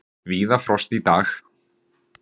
Víða frost í dag